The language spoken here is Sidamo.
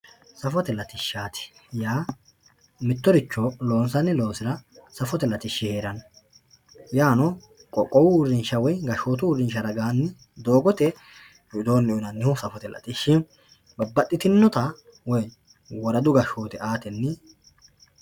safote latishshaati yaa mittoricho loonsaanirichira safote latishshi heeranno yaano qoqqowu uurrinsha woye gashshootu uurrinsha widoonni loonsanni babbaxxitinota gashshootu uurrrinsha aatenni